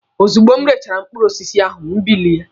Ozugbo m rechara mkpụrụ osisi ahụ, m bilie.